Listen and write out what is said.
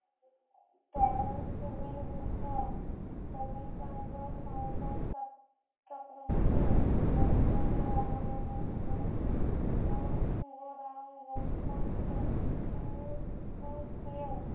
তরোমিশ্রনের যুদ্ধ কবি চন্দ্র সংকট চক চক্রবর্তী ওদ্দান্ত রামায়ণে বীজে উম ও সুবো রাম লক্ষণ শক্তির উম সেন